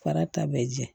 Fara ta bɛ jɛ